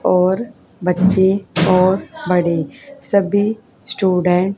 और बच्चे और बड़े सभी स्टूडेंट --